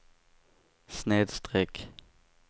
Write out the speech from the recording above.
snedsträck